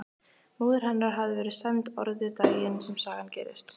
Móðir hennar hafði verið sæmd orðu daginn sem sagan gerist.